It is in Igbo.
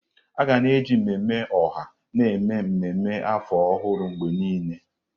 Aga na-eji mmemme ọha na-eme ememme afọ ọhụrụ mgbe niile.